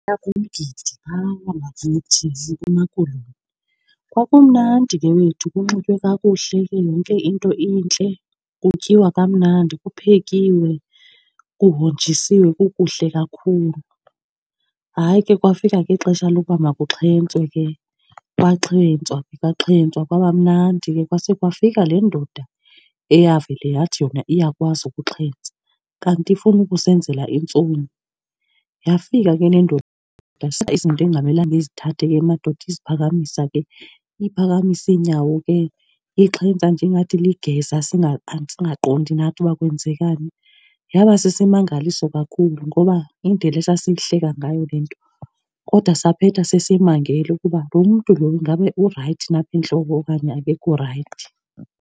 Kumgidi phaa wangakuthi eMpuma Koloni. Kwakumnandi ke wethu, kunxitywe kakuhle ke yonke into intle, kutyiwa kamnandi, kuphekiwe, kuhonjisiwe kukuhle kakhulu. Hayi ke kwafika ke ixesha lokuba makuxhentswe ke, kwaxhentswa ke kwaxhentswa kwaba mnandi ke. Kwase kwafika le ndoda eyavele yathi yona iyakwazi ukuxhentsa kanti ifuna ukusenzela intsomi. Yafika ke le ndoda izinto ekungamelanga izithathe ke emadodeni, iziphakamisa ke. Iphakamisa iinyawo ke ixhentsa nje ingathi ligeza, singaqondi nathi uba kwenzekani. Yaba sisimangaliso kakhulu ngoba indlela esasiyihleka ngayo le nto, kodwa saphetha sesimangele ukuba lo mntu lo ingabe urayithi na apha entloko okanye akekho rayithi.